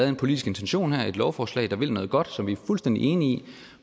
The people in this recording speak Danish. en politisk intention her et lovforslag som vil noget godt og som vi er fuldstændig enige i